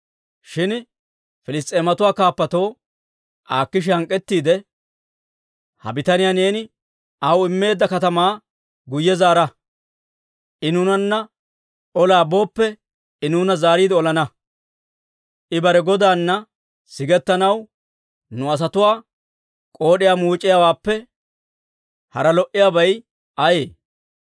Shin Piliss's'eematuwaa kaappatoo Akiisha hank'k'ettiide, «Ha bitaniyaa neeni aw immeedda katamaa guyye zaara; I nuunanna olaa booppe I nuuna zaariide olana. I bare godaana sigetsanaw nu asatuwaa k'ood'iyaa muuc'iyaawaappe hara lo"iyaabay ayee?